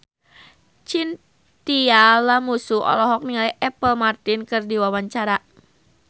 Chintya Lamusu olohok ningali Apple Martin keur diwawancara